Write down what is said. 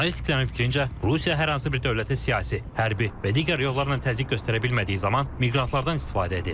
Analitiklərin fikrincə, Rusiya hər hansı bir dövlətə siyasi, hərbi və digər yollarla təzyiq göstərə bilmədiyi zaman miqrantlardan istifadə edir.